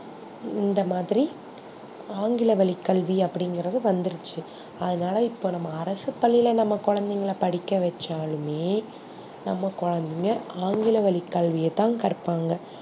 இந்த மாதிரி ஆங்கில வழி கல்வி அப்டிங்குறது வந்துருச்சி அதுனால இப்போ நம்ப அரசு பள்ளியில நம்ப கொலந்தைகல படிக்க வச்சாலுமே நம்ப கொலந்தைங்க ஆங்கில வழி கல்வியதா கர்பாங்க